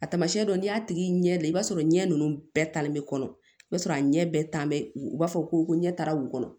Tamasiyɛn dɔ n'i y'a tigi ɲɛ da i b'a sɔrɔ ɲɛ ninnu bɛɛ talen bɛ kɔnɔ i b'a sɔrɔ a ɲɛ bɛɛ tan bɛ u b'a fɔ ko ɲɛ taara wula kɔnɔ